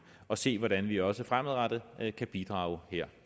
og se hvordan vi også fremadrettet kan bidrage her